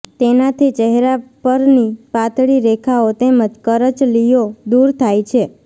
તેનાથી ચહેરા પરની પાતળી રેખાઓ તેમજ કરચલીઓ દૂર થાય છે